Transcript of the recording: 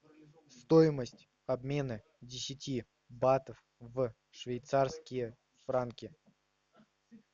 стоимость обмена десяти батов в швейцарские франки